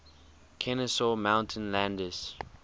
kenesaw mountain landis